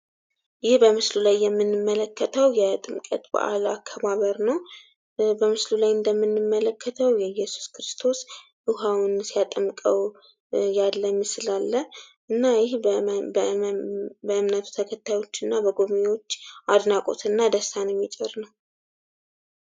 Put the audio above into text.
ይህ በምስሉ ላይ የምንመለከተው የጥምቀት በአል አከባበር ነው። በምስሉ ላይ እንደምንመለክተው የኢየሱስ ክርስቶስ ዉሃውን ሲያጠምቀው ያለ ምስል አለ። እና ይህ በእምነቱ ተከታዮች እና በጎብኝወች አድናቆት እና ደስታን የሚጭር ነው።